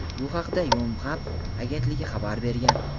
Bu haqda "Yonhap" agentligi xabar bergan.